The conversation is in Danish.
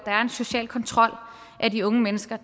social kontrol af de unge mennesker